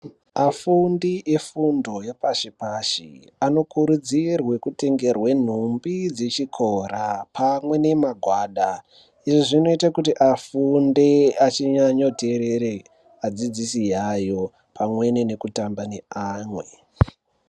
Afundi efundo yepashi-pashi, anokurudzirwe kutengerwe numbi dzechikora pamwe nemagwada. Izvi zvinoite kuti afunde achinyanyoteerere adzidzisi yayo pamweni nekutamba neamwe.